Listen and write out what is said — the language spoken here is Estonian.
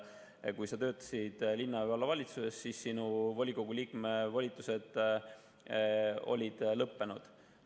Ehk kui sa töötasid linna‑ või vallavalitsuses, siis sinu volikogu liikme volitused olid lõppenud.